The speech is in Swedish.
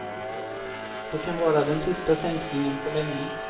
Det kan vara den sista sänkningen på länge.